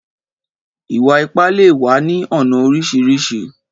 Ìwà-ipá lè wà ní ọnà oríṣiríṣi